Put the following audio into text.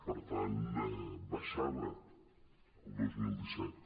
per tant baixava el dos mil disset